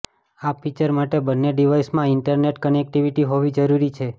આ ફીચર માટે બન્ને ડિવાઇસમાં ઇન્ટરનેટ કનેક્ટિવિટી હોવી જરૂરી છે